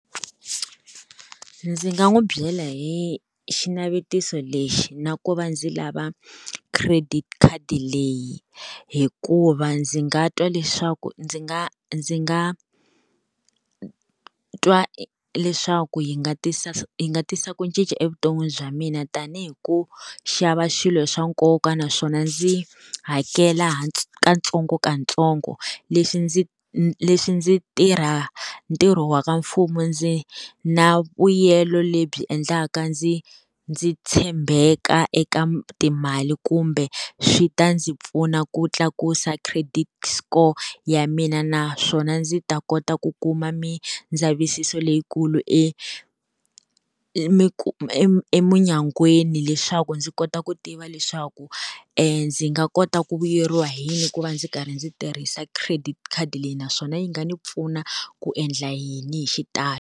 Ndzi nga n'wi byela hi xinavetiso lexi na ku va ndzi lava credit khadi leyi, hikuva ndzi nga twa leswaku ndzi nga ndzi nga twa leswaku yi nga tisa yi nga tisa ku cinca evuton'wini bya mina tanihi ku xava swilo swa nkoka, naswona ndzi hakela ha katsongokatsongo leswi ndzi leswi ndzi tirha ntirho wa ka mfumo ndzi na vuyelo lebyi endlaka ndzi ndzi tshembeka eka timali kumbe swi ta ndzi pfuna ku tlakusa credit score ya mina. Naswona ndzi ta kota ku kuma mindzavisiso leyikulu eminyangweni leswaku ndzi kota ku tiva leswaku ndzi nga kota ku vuyeriwa hi yini ku va ndzi karhi ndzi tirhisa credit khadi leyi, naswona yi nga ni pfuna ku endla yini hi xitalo.